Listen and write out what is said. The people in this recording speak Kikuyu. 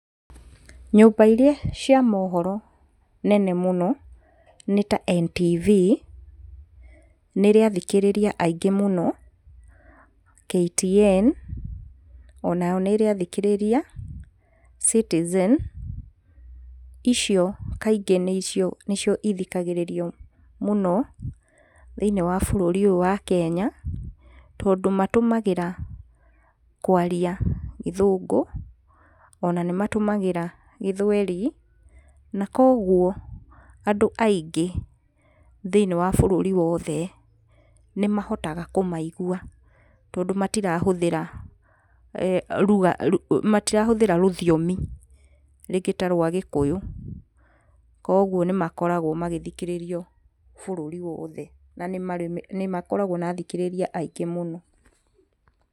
Nyũmba iria cia mohoro nene mũno, nĩ ta NTV, nĩ ĩrĩ athikĩrĩria aingĩ mũno, KTN, onayo nĩrĩ athikĩrĩria, Citizen, icio kaingĩ nĩcio nĩcio ithikagĩrĩrio mũno, thĩinĩ wa bũrũri ũyũ wa Kenya, tondũ matũmagĩra kwaria gĩthũngũ, ona nĩmatũmagĩra gĩthweri, na koguo andũ aingĩ thĩinĩ wa bũrũri wothe nĩmahotaga kũmaigua tondũ matirahũthĩra lugha matirahũthĩra rũthiomi rĩngĩ ta rwa gĩkũyũ, koguo nĩmakoragwo magĩthikĩrĩrio bũrũri wothe na nĩmarĩ nĩmakoragwo na athikĩrĩria aingĩ mũno.